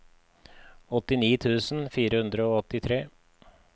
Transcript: åttini tusen fire hundre og åttitre